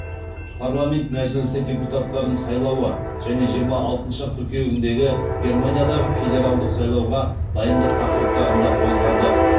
парламент мәжілісі депутаттарын сайлауы және жиырма алтыншы қыркүйегіндегі германиядағы федералдық сайлауға дайындық тақырыптарын да қозғады